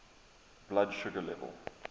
blood sugar level